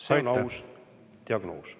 See on aus diagnoos.